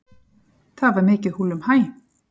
Það var mikið húllumhæ.